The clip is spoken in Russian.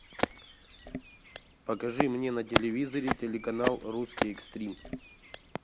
покажи мне на телевизоре телеканал русский экстрим